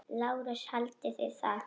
LÁRUS: Haldið þið það?